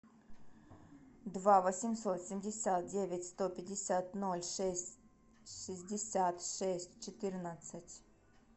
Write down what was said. два восемьсот семьдесят девять сто пятьдесят ноль шесть шестьдесят шесть четырнадцать